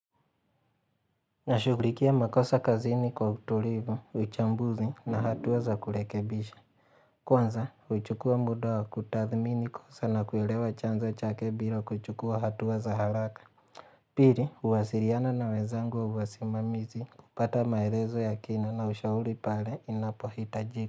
Nashughulikia makosa kazini kwa utulivu, uchambuzi na hatua za kurekebisha. Kwanza, uchukua muda wa kutathmini kosa na kuelewa chanzo chake bila kuchukua hatua za haraka. Pili, uwasiliana na wezangu wasimamizi kupata maelezo ya kina na ushauri pale inapohita jika.